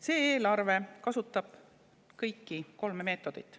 See eelarve kasutab kõiki kolme meetodit.